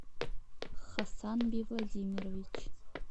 хасанби владимирович